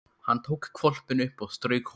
Hann tók hvolpinn upp og strauk honum.